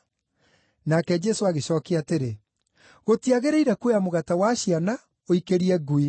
Nake Jesũ agĩcookia atĩrĩ, “Gũtiagĩrĩire kuoya mũgate wa ciana ũikĩrie ngui.”